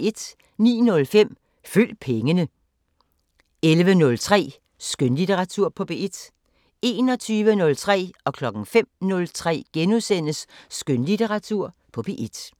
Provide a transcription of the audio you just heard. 09:05: Følg pengene 11:03: Skønlitteratur på P1 21:03: Skønlitteratur på P1 * 05:03: Skønlitteratur på P1 *